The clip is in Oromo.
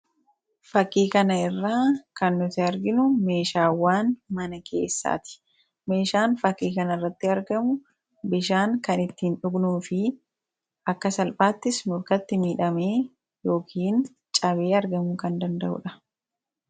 fakkii kana irraa kan nuti arginu meeshaawwaan mana keessaati. meeshaan fakkii kana irratti argamu bishaan kan ittiin dhugnuu fi akka salphaattis nurkatti miidhamee yookiin cabee argamu kan danda'uudha.